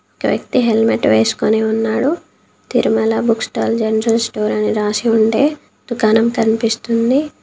ఒక వ్యక్తి హెల్మెట్ వేసుకొని ఉన్నాడు. Tirumala book stall general store అని రాసి ఉండే దుకాణం కనిపిస్తుంది.